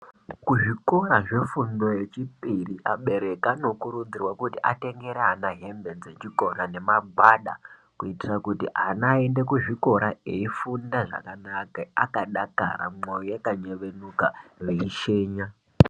Kuzvikora zvefundo yechipiri abereki anokurudzirwa kuti atengere ana hembe dzechikora nemagwada kuitira kuti ana aende kuzvikora eifunda zvakanaka akadakara mouo yakanyevenuka veishenya.